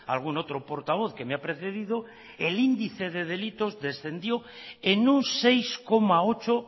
algún otro portavoz que me ha precedido el índice de delitos descendió en un seis coma ocho